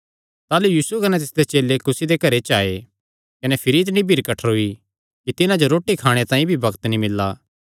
ताह़लू यीशु कने तिसदे चेले घरे जो आये कने भिरी इतणी भीड़ कठ्ठरोई कि सैह़ रोटी भी नीं खाई सके